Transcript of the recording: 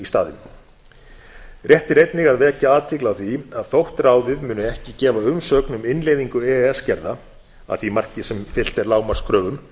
staðinn rétt er einnig að vekja athygli á því að þótt ráðið muni ekki gefa umsögn um innleiðingu e e s gerða að því marki sem fylgt er lágmarkskröfum